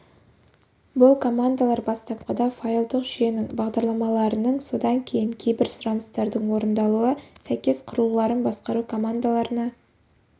бұл командалар бастапқыда файлдық жүйенің бағдарламаларының содан кейін кейбір сұраныстардың орындалуы сәйкес құрылғыларын басқару командаларына